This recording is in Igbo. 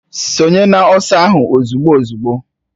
Sonye n'ọsọ ahụ ozugbo uzugbo!